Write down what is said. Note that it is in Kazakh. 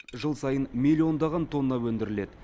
жыл сайын миллиондаған тонна өндіріледі